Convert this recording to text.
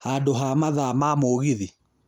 handu ha mathaa ma mũgithi